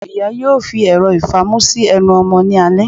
Iyá yóò fi erò ifamù si ẹnu ọmọ ni alẹ